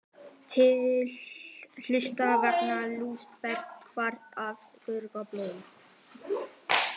Eitt helsta áhugamál Elsabetar var að þurrka blóm.